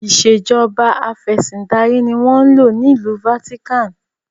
Ìsèjọba afẹ̀sindarí ni wọn ń lò ní ìlú 'Vatican'.